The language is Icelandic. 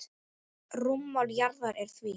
Rúmmál jarðar er því